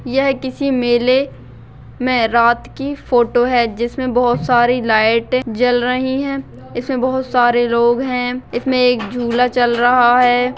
यह किसी मेले मे रात की फोटो है जिसमे बहुत सारी लाइट जल रही है इसमे बहुत सारे लोग है इसमे एक झूला चल रहा है।